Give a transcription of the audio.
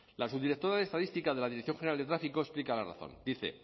la subdirectora de estadística de la dirección general de tráfico explica la razón dice